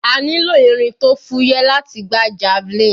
A nílò irin tó fúyẹ́ láti gbá javelin.